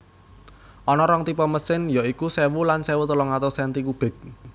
Ana rong tipe mesin ya iku sewu lan sewu telung atus senti kubik